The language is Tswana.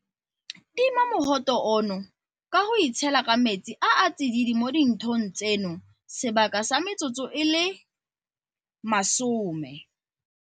Tima mogote ono ka go itshela ka metsi a a tsididi mo dinthong tseno sebaka sa metsotso e le 20.